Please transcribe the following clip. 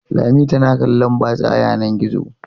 Lami tana kallon batsa a yanar gizo.